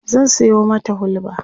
zan Sayo mata hulba